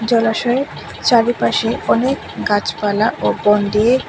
জলাশয়ের চারিপাশে অনেক গাছপালা ও বন দিয়ে--